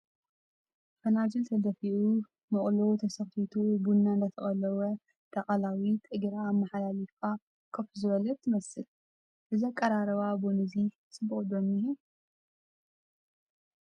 ፈናጅል ተደፊኡ መቑሎ ተሰኽቲቱ ቡና እንዳተቐለወ እታ ቐላዊት እግራ ኣመሓሊፋ ከፍ ዝበለት ትመስል ፡ እዚ ኣቐራርባ ቡና'ዚ ፅቡቕ' ዶ እንሄ ?